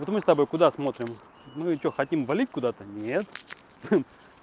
вот мы с тобой куда смотрим мы что хотим валить куда-то нет